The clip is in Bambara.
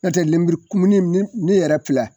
Nɔtɛ lemurukumuni ni ne yɛrɛ pilɛ